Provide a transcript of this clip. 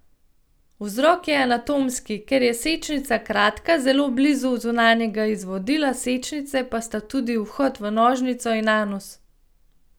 Vzrok je anatomski, ker je sečnica kratka, zelo blizu zunanjega izvodila sečnice pa sta tudi vhod v nožnico in anus.